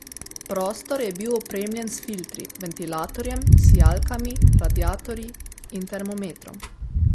Prostor je bil opremljen s filtri, ventilatorjem, sijalkami, radiatorji in termometrom.